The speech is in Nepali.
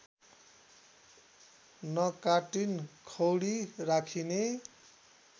नकाटीन खौरी राखिने